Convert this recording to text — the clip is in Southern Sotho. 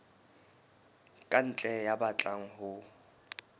ka ntle ya batlang ho